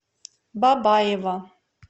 бабаево